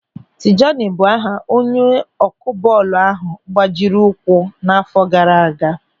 Tijani bụ aha onye ọkụ bọọlụ ahụ gbajiri ụkwụ n'àfọ́ gaara aga.